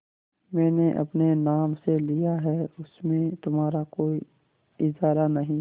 मैंने अपने नाम से लिया है उसमें तुम्हारा कोई इजारा नहीं